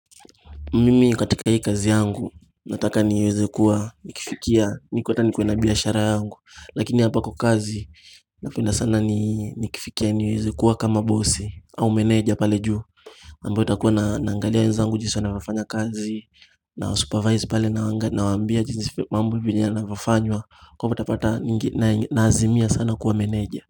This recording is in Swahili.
Mimi katika hii kazi yangu, nataka niweze kuwa, nikifikia, nikuwe na biashara yangu Lakini hapa kwa kazi, napenda sana ni kifikia niweze kuwa kama bosi au manager pale juu ambayo nitakuwa naangalia wezangu jinsi wanafanya kazi, na supervise pale naawambia jinsi mambo hivinyana nafanywa Kwa hivo utapata nnazimia sana kuwa manager.